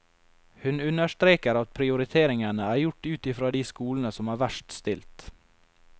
Hun understreker at prioriteringene er gjort ut i fra de skolene som er verst stilt.